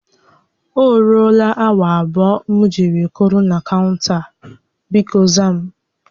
O ruela awa abụọ m ji were kwụrụ na kaụnta, bikọ za m